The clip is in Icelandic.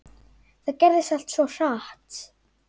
Það gerðist allt svo hratt.